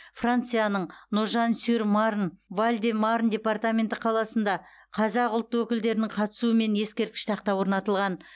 францияның ножан сюр марн валь де марн департаменті қаласында қазақ ұлт өкілдерінің қатысуымен ескерткіш тақта орнатылған